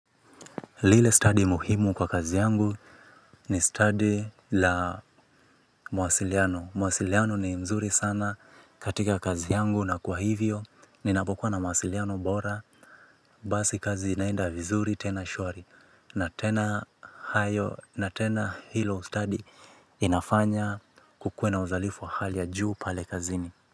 Lile study muhimu kwa kazi yangu ni study la mawasiliano. Mawasiliano ni nzuri sana katika kazi yangu na kwa hivyo. Ninapokuwa na mawasiliano bora. Basi kazi inaenda vizuri tena shwari. Na tena hayo, na tena hilo study linafanya kukue uzalifu wa hali ya juu pale kazini.